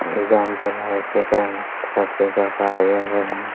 Exam चल रहा है इसके कारण सब कोई आए हुए हैं ।